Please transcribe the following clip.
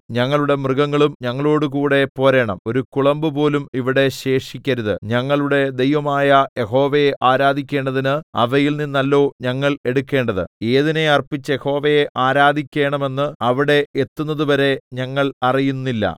ഞങ്ങളുടെ മൃഗങ്ങളും ഞങ്ങളോടുകൂടെ പോരണം ഒരു കുളമ്പുപോലും ഇവിടെ ശേഷിക്കരുത് ഞങ്ങളുടെ ദൈവമായ യഹോവയെ ആരാധിക്കണ്ടതിന് അവയിൽനിന്നല്ലോ ഞങ്ങൾ എടുക്കേണ്ടത് ഏതിനെ അർപ്പിച്ച് യഹോവയെ ആരാധിക്കേണമെന്ന് അവിടെ എത്തുന്നതുവരെ ഞങ്ങൾ അറിയുന്നില്ല